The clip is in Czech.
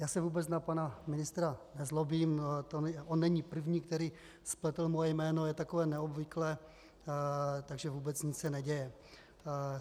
Já se vůbec na pana ministra nezlobím, on není první, který spletl moje jméno, je takové neobvyklé, takže vůbec nic se neděje.